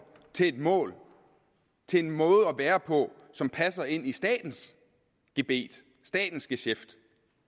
til et mål til en måde at være på som passer ind i statens gebet statens geschæft